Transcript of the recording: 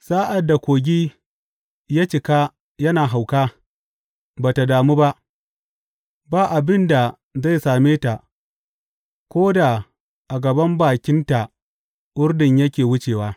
Sa’ad da kogi ya cika yana hauka, ba tă damu ba; ba abin da zai same ta ko da a gaban bakinta Urdun yake wucewa.